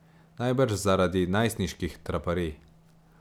Najbrž zaradi najstniških traparij.